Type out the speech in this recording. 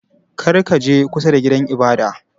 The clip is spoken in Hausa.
Kar ka je kusa da gidan ibada!